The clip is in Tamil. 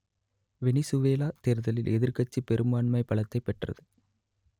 வெனிசுவேலா தேர்தலில் எதிர்க்கட்சி பெரும்பான்மை பலத்தைப் பெற்றது